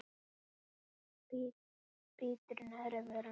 Bítur í neðri vörina.